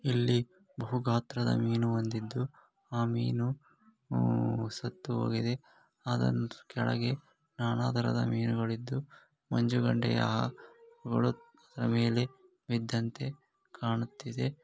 ಇಲ್ಲಿ ಬಹು ಗಾತ್ರದ ಮೀನು ಹೊಂದಿದ್ದು ಆ ಮೀನು ಸತ್ತುಹೋಗಿದೆ. ಅದರ ಕೆಳಗೆ ನಾನಾ ತರಹದ ಮೀನುಗಳಿದ್ದು ಮಂಜುಗಡ್ಡೆಯ ಮೇಲೆ ಬಿದ್ದಂತೆ ಕಾಣುತ್ತಿದೆ.